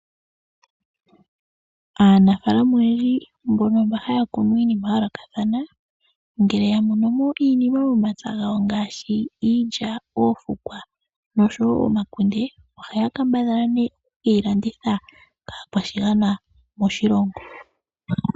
Aanafalama oyendji mba haya kunu iinima ya yoolokathathana ngele ya mono mo iinima momapya gawo ngaashi iilya, oofukwa nosho wo omakunde ohaya kambadhala nee okuyi landitha kaakwashigwana moshilongo.